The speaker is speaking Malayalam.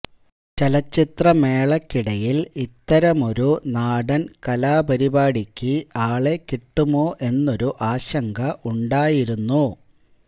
ചലച്ചിത്രമേളയ്ക്കിടയില് ഇത്തരമൊരു നാടന് കലാപരിപാടിക്ക് ആളെ കിട്ടുമോ എന്നൊരു ആശങ്ക ഉണ്ടായിരുന്നു